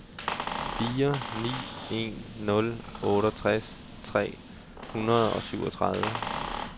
fire ni en nul otteogtres tre hundrede og syvogtredive